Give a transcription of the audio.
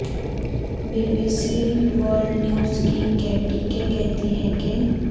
be B C world news کی Katie کے کہتی ہیں کہ